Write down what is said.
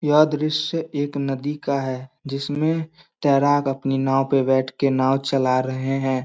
यह दृश्य एक नदी का है जिसमे तेराक अपनी नाव पे बैठके नाव चला रहे हैं।